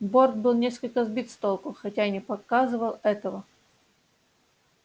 борт был несколько сбит с толку хотя и не показывал этого